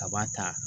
Kaba ta